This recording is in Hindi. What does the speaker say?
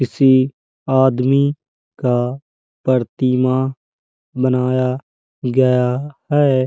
किसी आदमी का परतिमा बनाया गया है।